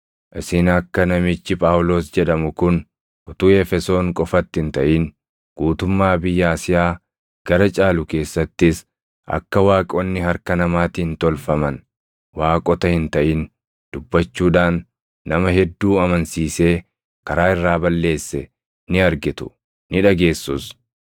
Isin akka namichi Phaawulos jedhamu kun utuu Efesoon qofatti hin taʼin guutummaa biyya Asiyaa gara caalu keessattis akka waaqonni harka namaatiin tolfaman waaqota hin taʼin dubbachuudhaan nama hedduu amansiisee karaa irraa balleesse ni argitu; ni dhageessus.